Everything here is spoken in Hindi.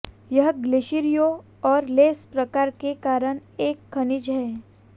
यह ग्लेशियरों और लेस प्रकार के कारण एक खनिज है